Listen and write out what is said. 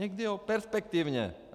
Někdy ano, perspektivně.